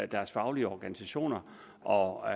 deres faglige organisationer og